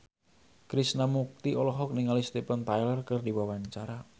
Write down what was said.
Krishna Mukti olohok ningali Steven Tyler keur diwawancara